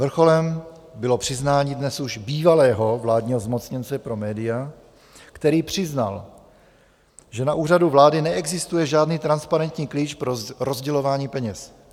Vrcholem bylo přiznání dnes už bývalého vládního zmocněnce pro média, který přiznal, že na Úřadu vlády neexistuje žádný transparentní klíč pro rozdělování peněz.